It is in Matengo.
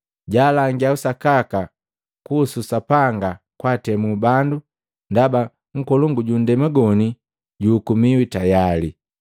Jaalangia usakaka kuhusu Sapanga kwaatemu bandu, ndaba nkolongu ju nndema goni juhukumiwi tayali.”